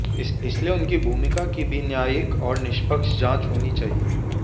इसलिए उनकी भूमिका की भी न्यायिक और निष्पक्ष जांच होनी चाहिए